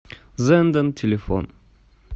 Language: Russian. зенден телефон